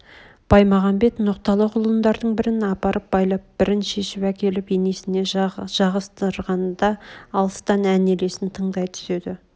баймағамбет ноқталы құлындардың бірін апарып байлап бірін шешіп әкеліп енесіне жағыздырғанда алыстан ән елесін тыңдай түседі